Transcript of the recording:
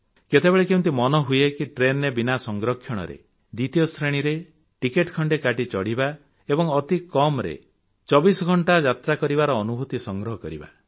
କେତେବେଳେ କେମିତି ମନ ହୁଏ କି ଟ୍ରେନରେ ବିନା ସଂରକ୍ଷଣରେ ଦ୍ୱିତୀୟ ଶ୍ରେଣୀରେ ଟିକେଟ ଖଣ୍ଡେ କାଟି ଚଢ଼ିବା ଏବଂ ଅତି କମରେ କଷ୍ଟରେ 24 ଘଂଟା ଯାତ୍ରା କରିବାର ଅନୁଭୂତି ସଂଗ୍ରହ କରିବା